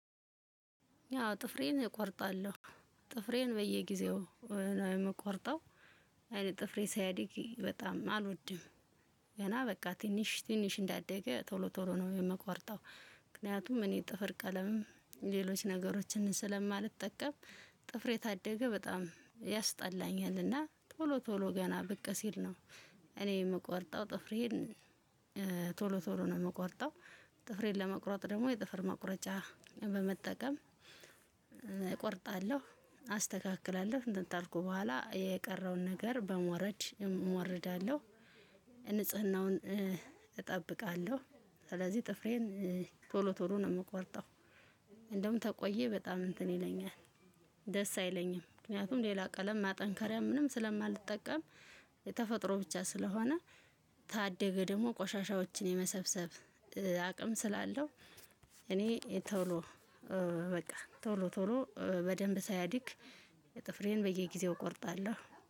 ያው ጥፍሬን እቆርጣለሁ ጥፍሬን በየጊዜው ነው የምቆርጠው። ጥፍሬ ሲያድግ በጣም አልወድም ገና በቃ ትንሽ ትንሽ እንዳደገ ቶሎ ቶሎ ነው የምቆርጠው። ምክንያቱም እኔ ጥፍር ቀለምም ሌሎች ነገሮችን ስለማልጠቀም ጥፍሬ ካደገ በጣም ያስጠላኛል እና ቶሎ ቶሎ ገና ብቅ ሲል ነው እኔ የምቆርጠው ጥፍሬን። ቶሎ ቶሎ ነው የምቆርጠው ጥፍሬን ለመቁረጥ ደግሞ የጥፍር መቁረጫ በመጠቀም እቆርጣለሁ አስተካክላለሁ እንትን ካልኩ በኋላ የቀረውን ነገር በሞረድ እሞርዳለሁ። ንጽህናውን እጠብቃለሁ። ስለዚህ ጥፍሬን ቶሎ ቶሎ ነው የምቆርጠው። እንደውም ከቆየ በጣም እንትን ይለኛል ደስ አይለኝም። ምክንያቱም ሌላ ቀለም ማጠንከርያ ምንም ሰለማልጠቀም የተፈጥሮ ብቻ ስለሆነ። ካደገ ደግሞ ቆሻሻዎችን የመሰብሰብ አቅም ስላለው። እኔ ቶሎ በቃ ቶሎ ቶሎ በደንብ ሳያድግ ጥፍሬን በየጊዜው እቆርጣለሁ